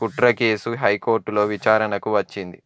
కుట్రకేసు హైకోర్టులో విచారణకు వచ్చింది